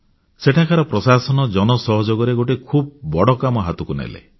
ସେଠାକାର ପ୍ରଶାସନ ଜନ ସହଯୋଗରେ ଗୋଟିଏ ଖୁବ୍ ବଡ଼ କାମ ହାତକୁ ନେଲେ